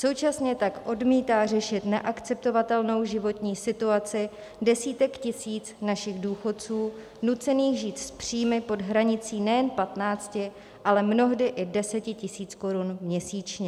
Současně tak odmítá řešit neakceptovatelnou životní situaci desítek tisíc našich důchodců nucených žít s příjmy pod hranicí nejen 15, ale mnohdy i 10 tisíc korun měsíčně.